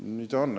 Nii ta on.